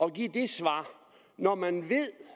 at give det svar når man